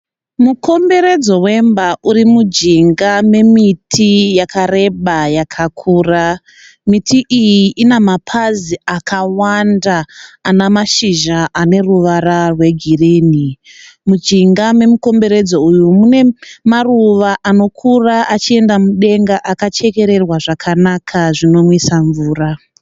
Mukomberedzo vemba uri munjinga memiti yakareba yakakura. miti iyi Ina mapazi akawanda Ana mashizha aneruvara rwegirini munjinga memukomberodzo uyu mune maruva anokura achienda mudenga akachekererwa zvakanaka zvinomwisa mvura